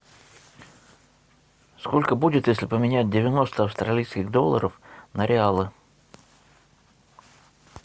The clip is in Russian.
сколько будет если поменять девяносто австралийских долларов на реалы